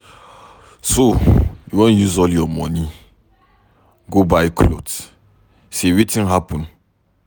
So you wan use all your money go buy cloth, say wetin happen?